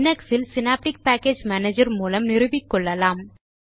Linux இல் synaptic package manager மூலம் நிறுவிக்கொள்ளலாம்